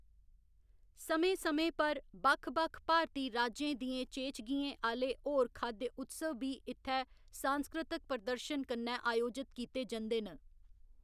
समें समें पर, बक्ख बक्ख भारती राज्यें दियें चेचगियें आह्‌‌‌ले होर खाद्य उत्सव बी इत्थै सांस्कृतक प्रदर्शन कन्नै आयोजत कीते जंदे न।